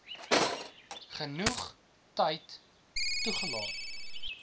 genoeg tyd toelaat